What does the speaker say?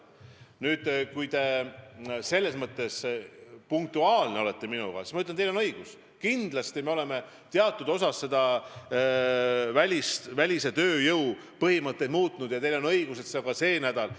Nüüd, kui punktuaalne olla, siis ma ütlen, et teil on õigus, me tõesti oleme teatud osas välistööjõudu puudutavaid põhimõtteid muutnud, ja teil on õigus, et see on päevakorral ka sel nädalal.